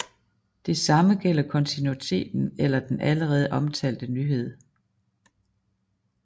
Det samme gælder kontinuitet eller den allerede omtalte nyhed